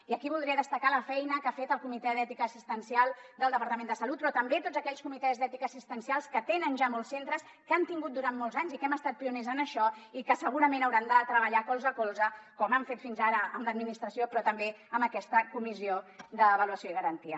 i aquí voldria destacar la feina que ha fet el comitè d’ètica assistencial del departament de salut però també tots aquells comitès d’ètica assistencials que tenen ja molts centres que han tingut durant molts anys i que hem estat pioners en això i que segurament hauran de treballar colze a colze com han fet fins ara amb l’administració però també amb aquesta comissió d’avaluació i garantia